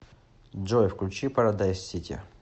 джой включи парадайз сити